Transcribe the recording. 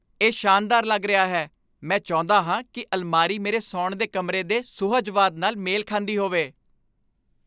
ਇਹ ਸ਼ਾਨਦਾਰ ਲੱਗ ਰਿਹਾ ਹੈ! ਮੈਂ ਚਾਹੁੰਦਾ ਹਾਂ ਕਿ ਅਲਮਾਰੀ ਮੇਰੇ ਸੌਣ ਦੇ ਕਮਰੇ ਦੇ ਸੁਹਜਵਾਦ ਨਾਲ ਮੇਲ ਖਾਂਦੀ ਹੋਵੇ।